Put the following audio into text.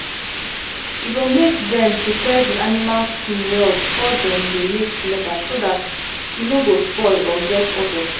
e go make dem prepare the animal skin well before dem make the leather so dat e no go spoil or get odour